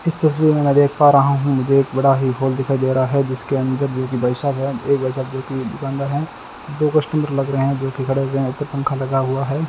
इस तस्वीर में मैं देख पा रहा हूं मुझे एक बड़ा ही हॉल दिखाई दे रहा है जिसके अंदर जो कि भाई साहब है ये भाई साहब जो कि दुकानदार हैं दो कस्टमर लग रहे हैं जो की खड़े हुए हैं एक पंख लगा हुआ है।